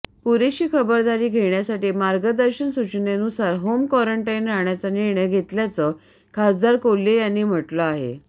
पुरेशी खबरदारी घेण्यासाठी मार्गदर्शक सूचनेनुसार होम क्वारंटाईन राहण्याचा निर्णय घेतल्याचं खासदार कोल्हे यांनी म्हटलं आहे